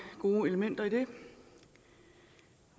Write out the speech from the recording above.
gode elementer i det